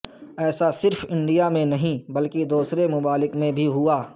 ایسا صرف انڈیا میں نہیں بلکہ دوسرے ممالک میں بھی ہوا